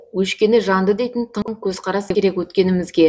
өшкені жанды дейтін тың көзқарас керек өткенімізге